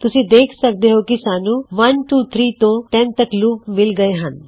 ਤੁਸੀਂ ਦੇ ਖ ਸਕਦੇ ਹੋਂ ਕੀ ਸਾਨੂੰ 123 ਤੋਂ 10 ਤੱਕ ਲੂਪ ਮਿਲਗਏ ਹਨ